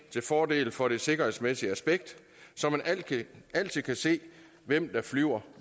fordel for det sikkerhedsmæssige aspekt så man altid kan se hvem der flyver